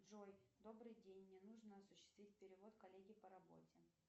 джой добрый день мне нужно осуществить перевод коллеге по работе